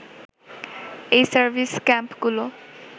এই সার্ভিস ক্যাম্পগুলো